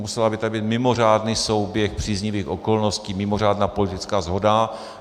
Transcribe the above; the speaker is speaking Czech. Musel by tu být mimořádný souběh příznivých okolností, mimořádná politická shoda.